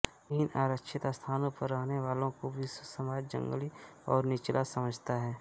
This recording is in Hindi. इन आरक्षित स्थानों पर रहने वालों को विश्वसमाज जंगली और निचला समझता है